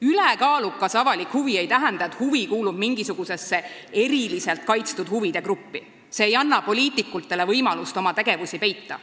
"Ülekaalukas avalik huvi" ei tähenda, et see huvi kuulub mingisugusesse eriliselt kaitstud huvide gruppi – see ei anna poliitikutele võimalust oma tegevusi peita.